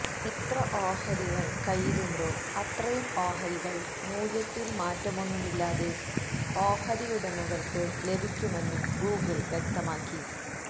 എത്ര ഓഹരികള് കയ്യിലുണ്ടോ അത്രയും ഓഹരികള് മൂല്യത്തില് മാറ്റമൊന്നുമില്ലാതെ ഓഹരിയുടമകള്ക്ക് ലഭിക്കുമെന്ന് ഗൂഗിള് വ്യക്തമാക്കി